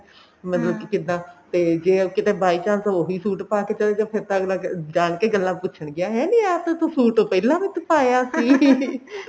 ਮਤਲਬ ਕਿ ਕਿੱਦਾਂ ਤੇ ਜੇ ਉਹ ਕਿਤੇ by chance ਉਹੀ suit ਪਾਕੇ ਚਲੇ ਜਾਉ ਫੇਰ ਤਾਂ ਅੱਗਲਾ ਜਾਣ ਕੇ ਗੱਲਾ ਪੁੱਛਣਗੇ ਹੈ ਨੀ ਆਹ ਤਾਂ ਤੂੰ suit ਪਹਿਲਾਂ ਵੀ ਪਾਇਆ ਸੀ